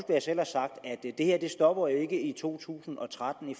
det her jo ikke stopper i to tusind og tretten i